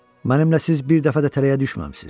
Mənimlə siz bir dəfə də tələyə düşməmisiniz.